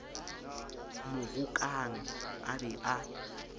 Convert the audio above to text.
mo rokang a be a